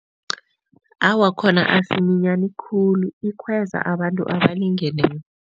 Awa, khona asiminyani khulu. Ikhweza abantu abalingeneko.